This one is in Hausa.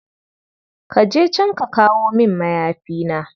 Ka je can ka kawo min mayafina.